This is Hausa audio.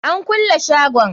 An kulle shagon.